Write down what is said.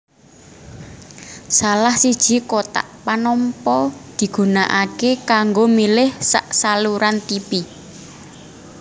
Salah siji kotak panampa digunakaké kanggo milih sak saluran tipi